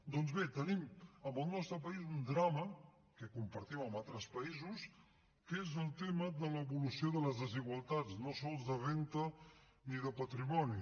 doncs bé tenim en el nostre país un drama que compartim amb altres països que és el tema de l’evolució de les desigualtats no sols de renda ni de patrimoni